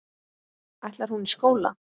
Ætlar hún í skóla.